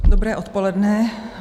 Dobré odpoledne.